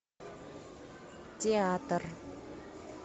театр